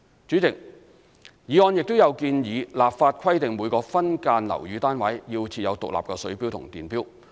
主席，議案亦建議立法規定每個分間樓宇單位須設有獨立水錶及電錶。